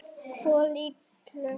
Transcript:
Svo litlu.